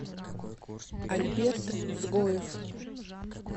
альберт цгоев